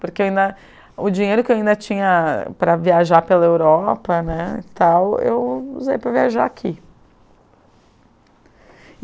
Porque ainda o dinheiro que eu ainda tinha para viajar pela Europa, né, tal, eu usei para viajar aqui.